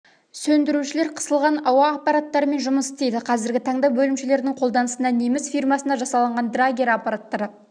сөндірушілер қысылған ауа аппараттарымен жұмыс істейді қазіргі таңда бөлімшелердің қолданысында неміс фирмасында жасалынған драгер аппараттары